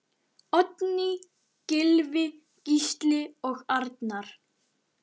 Oddný, Gylfi, Gísli og Arnar.